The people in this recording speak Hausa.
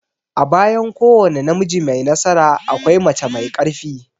A bayan kowane namiji mai nasara, akwai mace mai ƙarfi.